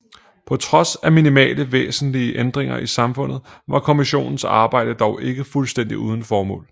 På trods af minimale væsentlige ændringer i samfundet var kommissionens arbejde dog ikke fuldstændigt uden formål